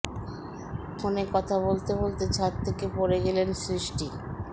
ফোনে কথা বলতে বলতে ছাদ থেকে পড়ে গেলেন সৃষ্টি